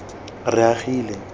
reagile